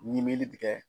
Ɲimeli tigɛ